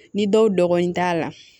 Ni dɔw dɔgɔnin t'a la